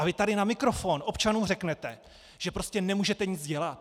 A vy tady na mikrofon občanům řeknete, že prostě nemůžete nic dělat?